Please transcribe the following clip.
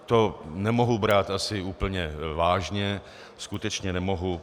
To nemohu brát asi úplně vážně, skutečně nemohu.